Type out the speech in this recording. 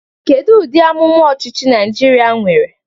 Kedu ụdị amụma ọchịchị Naịjirịa nwere?